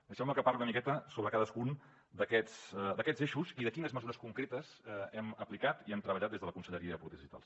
deixeu me que parli una miqueta sobre cadascun d’aquests eixos i de quines mesures concretes hem aplicat i hem treballat des de la conselleria de polítiques digitals